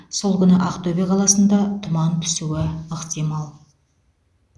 сол күні ақтөбе қаласында тұман түсуі ықтимал